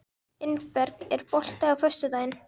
Ingberg, er bolti á föstudaginn?